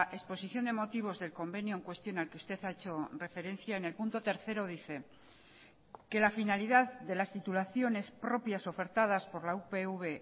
exposición de motivos del convenio en cuestión al que usted ha hecho referencia en el punto tercero dice que la finalidad de las titulaciones propias ofertadas por la upv